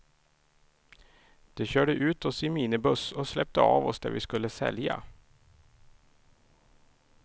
De körde ut oss i minibuss och släppte oss där vi skulle sälja.